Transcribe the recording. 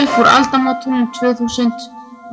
upp úr aldamótunum tvö þúsund